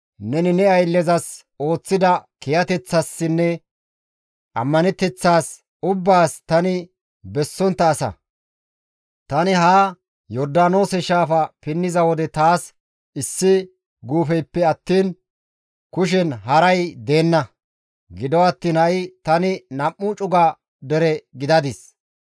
neni ne ayllezas ooththida kiyateththaassinne ammaneteththaas ubbaas tani bessontta asa. Tani haa Yordaanoose shaafa pinniza wode taas issi guufeyppe attiin kushen haray deenna; gido attiin ha7i tani nam7u cuga dere gidadis.